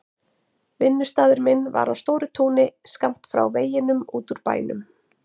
Vinnustaður minn var á stóru túni skammt frá veginum út úr bænum.